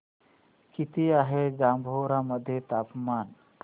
किती आहे जांभोरा मध्ये तापमान